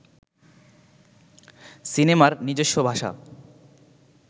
সিনেমার নিজস্ব ভাষা